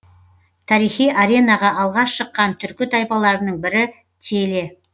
тарихи аренаға алғаш шыққан түркі тайпаларының бірі теле